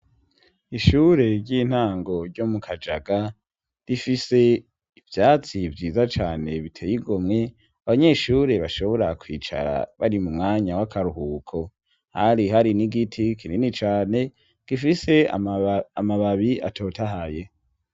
Ishure ry'intango ryo mu kajaga rifise ivyatsi vyiza cane biteyigomwe abanyeshure bashobora kwicara bari mu mwanya w'akaruhuko hari hari n'igiti kinini cane gifise amababi atotahaye.